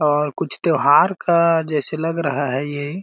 और कुछ त्यौहार का जैसे लग रहा है ये --